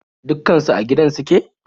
Dukkan su a gidan suke?